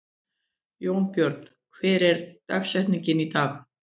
Jónbjörn, hver er dagsetningin í dag?